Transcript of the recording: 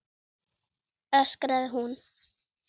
öskraði hún.